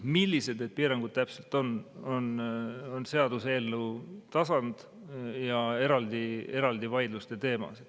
Millised need piirangud täpselt on, on seaduseelnõu tasand ja eraldi vaidluste teema.